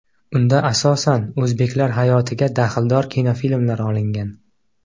Unda asosan o‘zbeklar hayotiga daxldor kinofilmlar olingan.